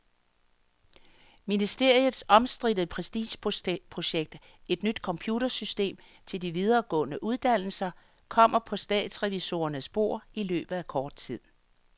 Ministeriets omstridte prestigeprojekt, et nyt computersystem til de videregående uddannelser, kommer på statsrevisorernes bord i løbet af kort tid.